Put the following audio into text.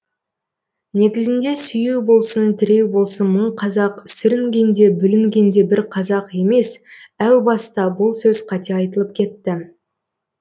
негізінде сүйеу болсын тіреу болсын мың қазақ сүрінгенде бүлінгенде бір қазақ емес әу баста бұл сөз қате айтылып кетті